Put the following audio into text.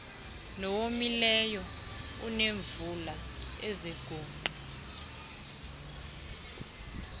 nowomileyo oneemvula eziguqu